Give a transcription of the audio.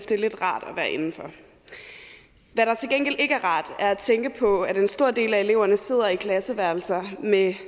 det er lidt rart at være indenfor hvad der til gengæld ikke rart er at tænke på at en stor del af eleverne sidder klasseværelser med